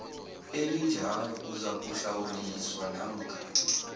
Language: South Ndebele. elinjalo uzakuhlawuliswa namkha